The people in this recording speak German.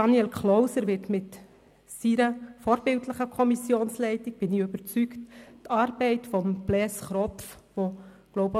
Daniel Klauser wird mit seiner vorbildlichen Kommissionsleitung, da bin ich überzeugt, die Arbeit Blaise Kropfs weiterführen.